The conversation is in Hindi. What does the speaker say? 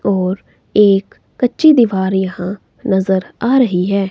और एक कच्ची दीवार यहां नज़र आ रही है।